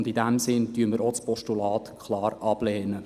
In diesem Sinne lehnen wir auch das Postulat klar ab.